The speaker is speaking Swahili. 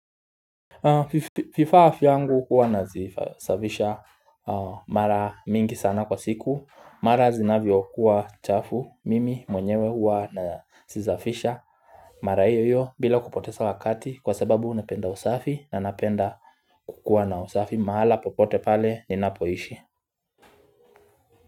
Fifa afya yangu huwa nazisafisha mara mingi sana kwa siku mara zinavyokuwa chafu mimi mwenyewe huwa nazisafisha Mara hiyo hiyo bila kupoteza wakati kwa sababu napenda usafi na napenda kukuwa na usafi mahala popote pale ninapoishi.